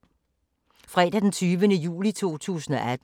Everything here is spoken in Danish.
Fredag d. 20. juli 2018